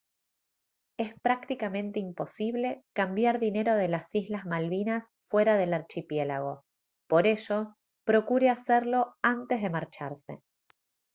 es prácticamente imposible cambiar dinero de las islas malvinas fuera del archipiélago por ello procure hacerlo antes de marcharse